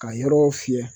Ka yɔrɔ fiyɛ